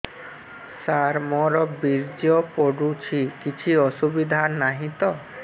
ସାର ମୋର ବୀର୍ଯ୍ୟ ପଡୁଛି କିଛି ଅସୁବିଧା ନାହିଁ ତ